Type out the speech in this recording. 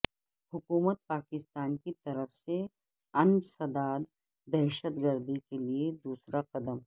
حکومت پاکستان کی طرف سے انسداد دہشت گردی کے لئے دوسرا قدم